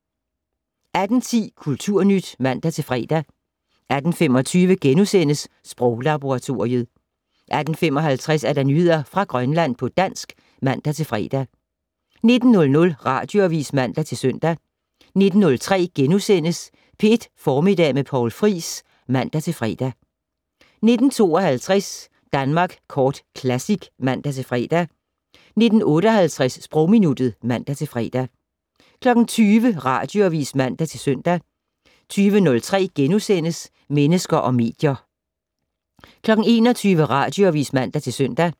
18:10: Kulturnyt (man-fre) 18:25: Sproglaboratoriet * 18:55: Nyheder fra Grønland på dansk (man-fre) 19:00: Radioavis (man-søn) 19:03: P1 Formiddag med Poul Friis *(man-fre) 19:52: Danmark Kort Classic (man-fre) 19:58: Sprogminuttet (man-fre) 20:00: Radioavis (man-søn) 20:03: Mennesker og medier * 21:00: Radioavis (man-søn)